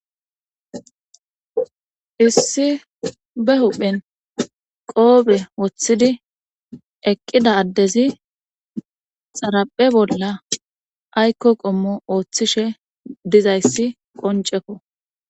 issi be huphen qoobe woththidi eqqida addezi xaraphe bolla aykko qommo ooththishe dizayssi qoncekko